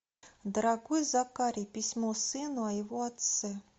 дорогой закари письмо сыну о его отце